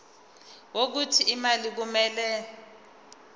wokuthi imali kumele